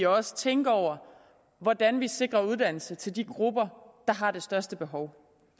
også tænke over hvordan vi sikrer uddannelse til de grupper der har det største behov